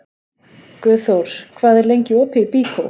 Guðþór, hvað er lengi opið í Byko?